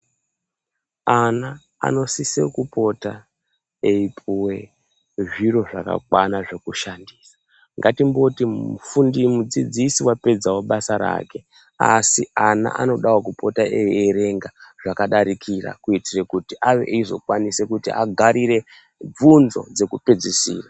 Ana anosisa kupota eipuwe zviro zvakakwana zvekushandisa, ngatimboti mufundi mudzidzisi wapedzawo basa rake asi ana anodawo kupota eierenga zvakadarikira kuitire kuti ave eizokwanisa kuti agarire vhunzo dzekupedzisira.